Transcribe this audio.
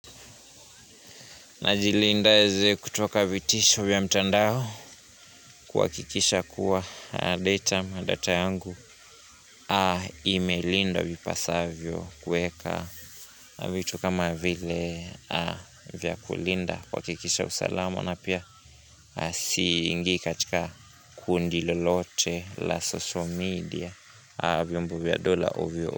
Najilindaje kutoka vitisho vya mtandao kuhakikisha kuwa data yangu imelindwa vipasavyo kueka vitu kama vile vya kulinda kuhakikisha usalamu na pia siingii katika kundi lolote la social media vyombo vya dola ovyo.